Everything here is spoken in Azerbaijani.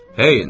Heyen!